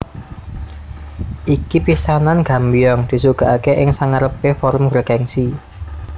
Iki pisanan Gambyong disuguhake ing sangarepe forum bergengsi